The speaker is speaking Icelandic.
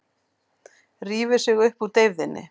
Rífur sig upp úr deyfðinni.